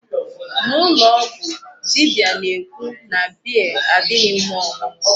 N'ụlọ ọgwụ, dibia na-ekwu na beer adịghị mma ọṅụṅụ.